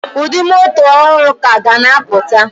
Ụdị moto ọhụrụ ka ga na apụta